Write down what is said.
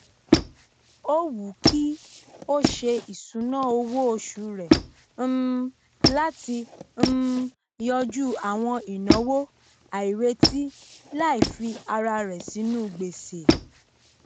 ó wùú kí o se ìsùná owó osù rẹ um latí um yanjú àwọn ináwó àìrètí láì fi ara rẹ sínú gbèsè